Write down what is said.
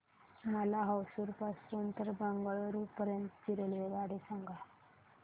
मला होसुर पासून तर बंगळुरू पर्यंत ची रेल्वेगाडी सांगा